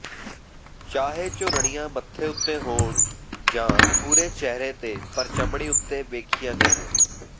ਚਾਹੇ ਝੁਰੜੀਆਂ ਮੱਥੇ ਉੱਤੇ ਹੋਣ ਜਾਂ ਪੂਰੇ ਚਿਹਰੇ ਤੇ ਪਰ ਚਮੜੀ ਉੱਤੇ ਵੇਖੀਆਂ ਗਈਆਂ